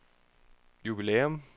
jubilæum